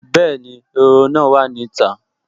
Bẹ́ẹ̀ni, ehoro náà wà ní ìta